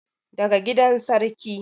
daga gidan sarki